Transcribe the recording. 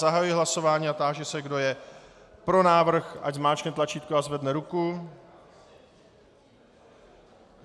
Zahajuji hlasování a táži se, kdo je pro návrh, ať zmáčkne tlačítko a zvedne ruku.